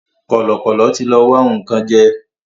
Kọ̀lọ̀kọ̀lọ̀ tí lọ wá nǹkan jẹ́